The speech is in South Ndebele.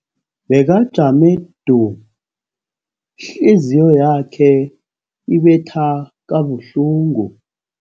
Bekajame du, ihliziyo yakhe ibetha kabuhlungu.